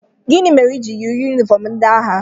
Gịnị ihe ị ji yiri yunifọm agha?